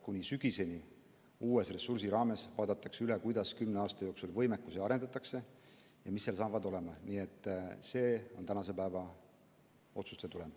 Kuni sügiseni vaadatakse uue ressursi raames üle, kuidas kümne aasta jooksul võimekust arendatakse ja mis seal hakkab olema, nii et see on tänase päeva otsuste tulem.